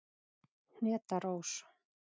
Hneta Rós.